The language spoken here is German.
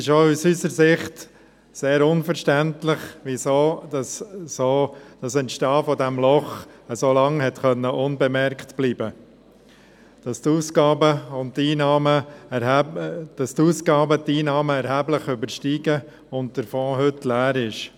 Es ist auch aus unserer Sicht sehr unverständlich, dass das Entstehen dieses Lochs so lange unbemerkt blieb, dass die Ausgaben die Einnahmen erheblich überstiegen und der Fonds heute leer ist.